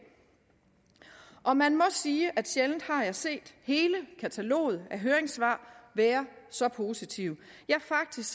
og man må sige at sjældent har jeg set hele kataloget af høringssvar være så positive faktisk